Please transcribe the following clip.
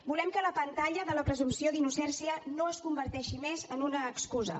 volem que la pantalla de la presumpció d’innocència no es converteixi més en una excusa